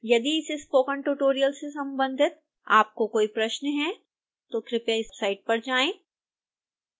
यदि इस spoken tutorial से संबंधित आपके कोई प्रश्न हैं तो कृपया इस साइट पर जाएं